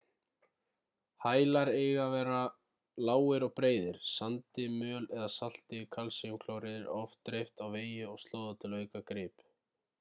hælar eiga að vera lágir og breiðir. sandi möl eða salti kalsíumklóríð er oft dreift á vegi og slóða til að auka grip